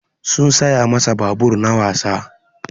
Sun saya masa babur na wasa.